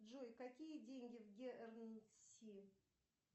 джой какие деньги в гернси